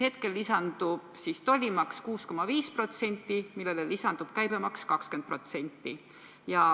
Hetkel lisandub tollimaks 6,5%, millele omakorda lisandub käibemaks 20%.